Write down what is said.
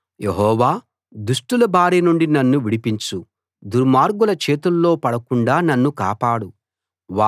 యెహోవా దుష్టుల బారి నుండి నన్ను విడిపించు దుర్మార్గుల చేతుల్లో పడకుండా నన్ను కాపాడు